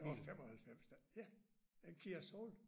Det var 95 da ja en KIA Soul